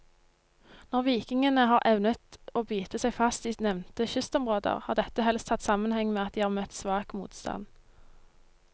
Når vikingene har evnet å bite seg fast i nevnte kystområder, har dette helst hatt sammenheng med at de har møtt svak motstand.